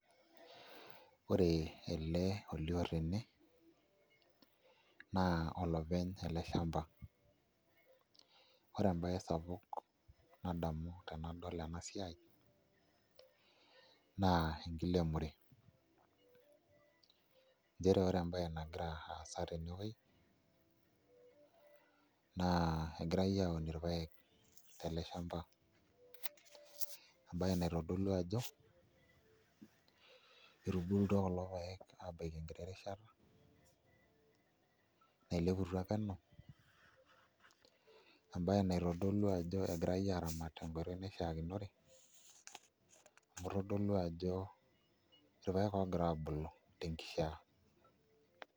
Ore ele olioo tene naa olopeny ele shamba ore embaye sapuk nadamu tenadol ene siai naa enkiremore, nchere ore embaye nagira aasa tenewuei naa kegirai aun irpaek tele shamba embaye naitodolu ajo etubulutua kulo paek enkiti rishata naileputua penu embaye naitodolu ajo egirai araamat tenkoitoi naishiakinore amu itodolub ajo irpaek oogira aabulu tenkishiaa.